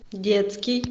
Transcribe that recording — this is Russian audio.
детский